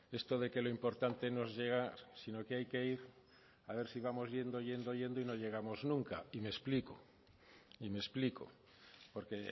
esto de que lo importante nos llega sino que hay que ir a ver si vamos yendo yendo yendo y no llegamos nunca y me explico porque